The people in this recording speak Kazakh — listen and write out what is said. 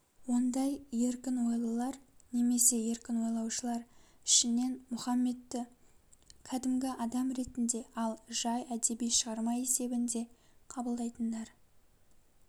ондай еркін ойлылар немесе еркін ойлаушылар ішінен мұхаммедті кәдімгі адам ретінде ал жай әдеби шығарма есебінде қабылдайтындар